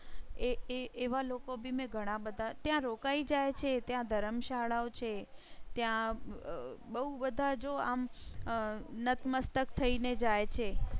એ એ એવા લોકો બી મેં ઘણા બધા ત્યાં રોકાઈ જાય છે ત્યાં ધર્મશાળાઓ છે ત્યાં બહુ બધા જો આમ અમ નતમસ્તક થઈ ને જાય છે.